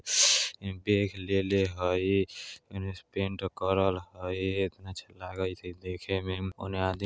म बेग लेले हई येने से पैंट करल हई एतना अच्छा लागई छई देखे मे ओने आदमी --